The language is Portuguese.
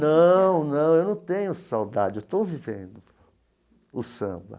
Não, não eu não tenho saudade, eu estou vivendo o samba.